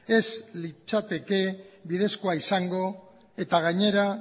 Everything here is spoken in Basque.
ez litzateke bidezkoa izango eta gainera